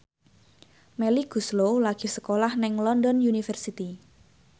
Melly Goeslaw lagi sekolah nang London University